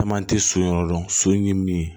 Caman tɛ so in yɔrɔ dɔn so in ye min ye